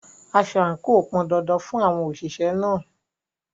Aso àǹkò pọn dandan fún àwọn òṣìṣẹ́ náà.